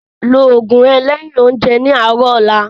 Ló oògùn rẹ lẹ́yin oúnjẹ ní àárọ̀ ọ̀la